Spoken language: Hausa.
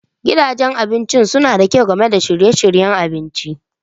Gidajen abinci suna da kyau Game da shirye-shiryen abinci.